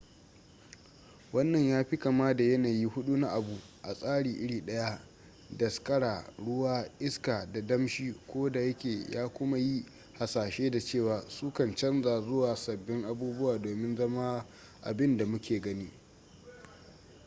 wannan ya fi kama da yanayi hudu na abu a tsari iri daya: daskara ruwa iska da damshi ko da yake ya kuma yi hasashe da cewa su kan canza zuwa sabbin abubuwa domin zama abin da muke gani